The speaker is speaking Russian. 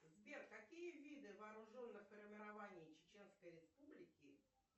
сбер какие виды вооруженных формирований чеченской республики